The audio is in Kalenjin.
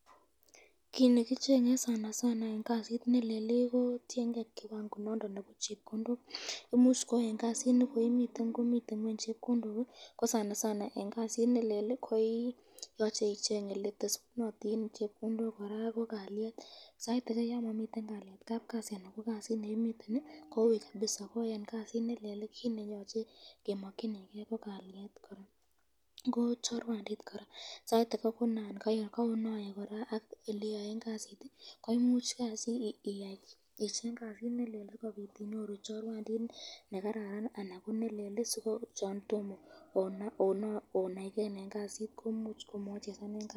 Kit nekichenge eng kasit nelel , tienke kiwango nondon nebo chepkondok imuch eng kasit nekoimiten komiten ngweny chepkondok, ko eng kasit nelel koyache icheng eletesunotin chepkondok, koraaa ko kalyet ,sait ake yon Mami kalyet kapkasi anan ko kasit nekimiten koui kabisa ko eng kasit nelel ko kit neyoche kemakyinike ko kalyet, chorwandit koraa sait ake koyan kronaye ak bik eng eleyoen kasit, koyan ichenge kasit nelel koyache icheng chorwandit nemnye anan ko chelelach.